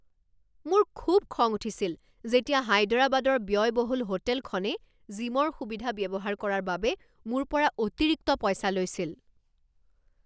মোৰ খুব খং উঠিছিল যেতিয়া হায়দৰাবাদৰ ব্য়য়বহুল হোটেলখনে জিমৰ সুবিধা ব্যৱহাৰ কৰাৰ বাবে মোৰ পৰা অতিৰিক্ত পইচা লৈছিল।